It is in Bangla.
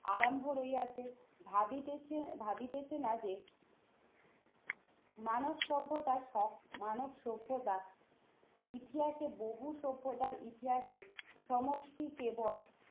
আরম্ভ হইয়াছে। ভাবিতেছে, ভাবিতেছে না যে মানব সভ্যতার সব মানব সভ্যতা ইতিহাসে বহু সভ্যতার ইতিহাসে সমষ্টি কেবল